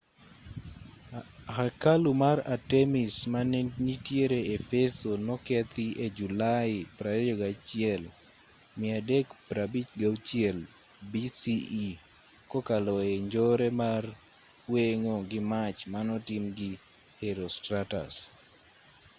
hekalu mar artemis ma nitiere efeso nokethi e julai 21 356 bce kokalo e njore mar weng'o gi mach manotim gi herostratus